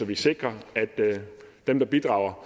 vi sikrer at dem der bidrager